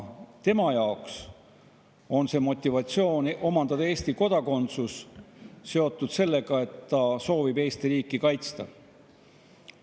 Tema jaoks on motivatsioon omandada Eesti kodakondsus seotud sellega, et ta soovib Eesti riiki kaitsta.